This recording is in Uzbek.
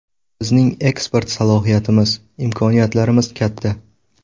Bizning eksport salohiyatimiz, imkoniyatlarimiz katta.